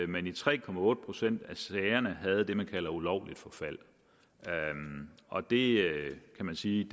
man i tre procent af sagerne havde det man kalder ulovligt forfald og det kan man sige